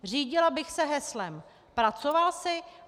Řídila bych se heslem: Pracoval jsi?